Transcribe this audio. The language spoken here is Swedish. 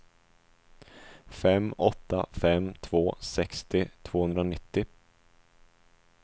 fem åtta fem två sextio tvåhundranittio